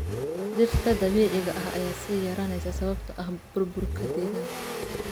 Dhirta dabiiciga ah ayaa sii yaraanaysa sababtoo ah burburka deegaanka.